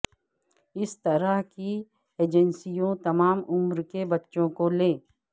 اس طرح کی ایجنسیوں تمام عمر کے بچوں کو لے